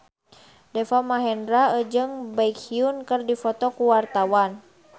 Deva Mahendra jeung Baekhyun keur dipoto ku wartawan